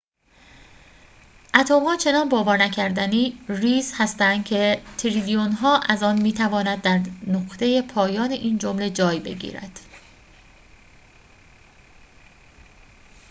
اتم‌ها چنان باور نکردنی ریز هستند که تریلیون‌ها از آن می‌تواند در نقطه پایان این جمله جای بگیرد